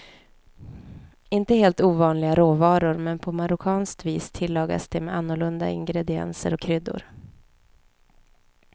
Inte helt ovanliga råvaror, men på marockanst vis tillagas de med annorlunda ingredienser och kryddor.